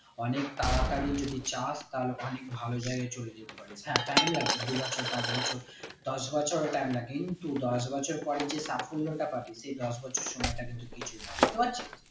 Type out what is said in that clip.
অনেক তাড়াতাড়ি যদি চাস তাহলে অনেক ভালো জায়গায় চলে যেতে পারিস হ্যাঁ time লাগবে দু বছর পাঁচ বছর দশ বছরও time লাগে কিন্তু দশ বছর পরে যে সাফল্যটা পাবি সেই দশ বছর সময়টা কিন্তু কিছুই না বুঝতে পারছিস